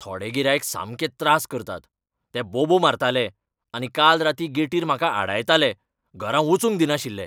थोडे गिरायक सामकें त्रास करतात. ते बोबो मारताले आनी काल रातीं गेटीर म्हाका आडायताले, घरा वचूंक दिनाशिल्ले!